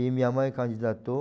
E minha mãe candidatou.